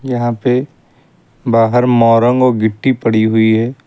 यहां पे बाहर मोरंग और गिट्टी पड़ी हुई है।